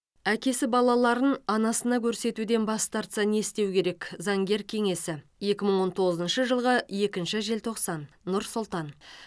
әкесі балаларын анасына көрсетуден бас тартса не істеу керек заңгер кеңесі екі мың он тоғызыншы жылғы екінші желтоқсан нұр сұлтан